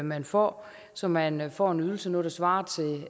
man får så man får en ydelse nu der svarer til